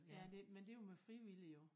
Ja det men det jo med frivillige jo